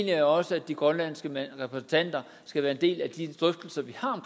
jeg også at de grønlandske repræsentanter skal være en del af de drøftelser vi har